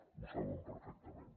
ho saben perfectament